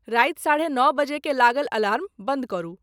राति साढ़े नओ बजे के लागल अलार्म बन्द करू।